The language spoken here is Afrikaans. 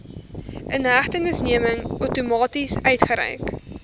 inhegtenisneming outomaties uitgereik